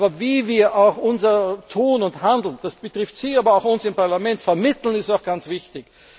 Aber wie wir unser Tun und Handeln das betrifft Sie, aber auch uns im Parlament vermitteln, ist auch ganz wichtig.